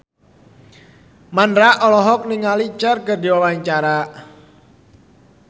Mandra olohok ningali Cher keur diwawancara